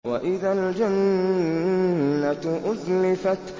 وَإِذَا الْجَنَّةُ أُزْلِفَتْ